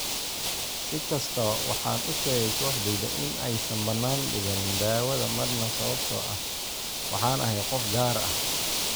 "Si kastaba, waxaan u sheegay kooxdayda in aysan banaan dhiganin daawada marna sababtoo ah waxaan ahay qof gaar ah."